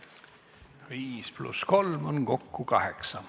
Viis pluss kolm on kokku kaheksa.